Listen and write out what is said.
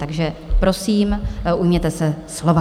Takže prosím, ujměte se slova.